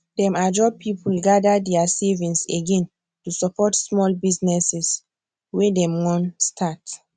dem ajo people gather their savings again to support small businesses wey dem wan start